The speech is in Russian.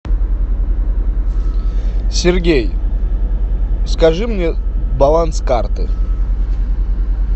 сергей скажи мне баланс карты